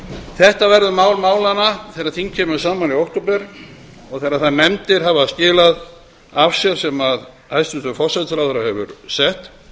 þetta verður mál málanna þegar þing kemur saman í október þegar þær nefndir hafa skilað af sér sem hæstvirtur forsætisráðherra hefur sett